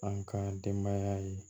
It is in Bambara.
An ka denbaya ye